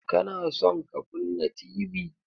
Ka na son ka kunna Tv?